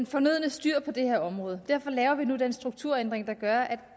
fornødne styr på det her område derfor laver vi nu den strukturændring der gør at